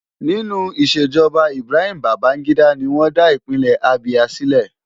Nínú ìṣèjọba Ibrahim Babangida ni wọ́n dá Ìpínlẹ̀ Abia sílẹ̀.